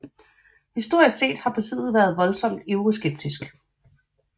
Historisk set har partiet været voldsomt Euroskeptisk